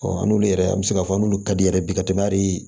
n'olu yɛrɛ an bɛ se k'a fɔ n'olu ka di yɛrɛ ye bi ka tɛmɛ hali